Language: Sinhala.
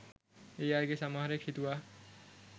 ඒ අයගෙන් සමහරෙක් හිතුවා